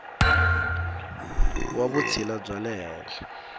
wa vutshila bya le henhla